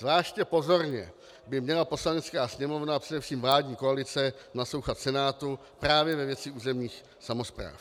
Zvláště pozorně by měla Poslanecká sněmovna a především vládní koalice naslouchat Senátu právě ve věci územních samospráv.